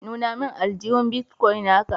nuna min Aljuhu. " Bitcoin" na ka.